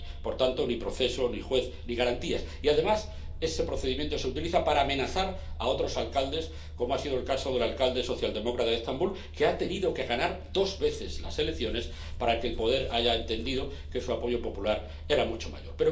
No hay, por tanto, ni proceso, ni juez, ni garantías. Y, además, ese procedimiento se utiliza para amenazar a otros alcaldes, como ha sido el caso del alcalde socialdemócrata de Estambul, que ha tenido que ganar dos veces las elecciones para que el poder haya entendido que su apoyo popular era mucho mayor.